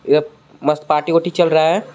एक मस्त पार्टी वाटी चल रहा है।